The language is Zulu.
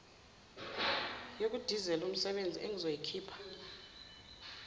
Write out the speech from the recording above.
yokudizela umsebezi engizoyikhipha